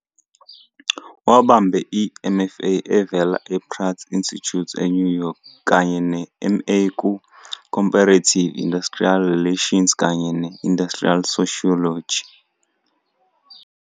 Wabambe i-MFA evela ePratt Institute eNew York kanye ne-MA ku-Comparative Industrial Relations kanye ne-Industrial Sociology.